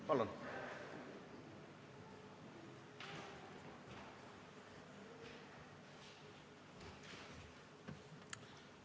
Palun!